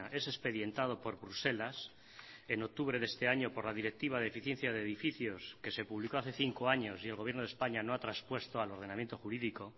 es expedientado por bruselas en octubre de este año por la directiva de eficiencia de edificios que se publicó hace cinco años y el gobierno de españa no ha traspuesto al ordenamiento jurídico